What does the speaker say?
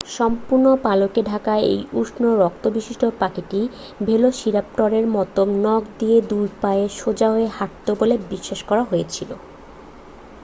সম্পূর্ণ পালকে ঢাকা এই উষ্ণ রক্তবিশিষ্ট পাখিটি ভেলোসিরাপটরের মতো নখ দিয়ে দুই পায়ে সোজা হয়ে হাঁটে বলে বিশ্বাস করা হয়েছিল